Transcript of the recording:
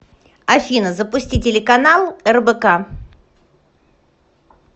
афина запусти телеканал рбк